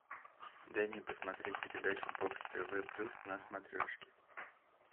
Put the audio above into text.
дай мне посмотреть передачу бокс тв плюс на смотрешке